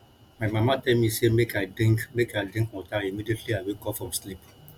my mama tell me say make i drink make i drink water immediately i wake up from sleep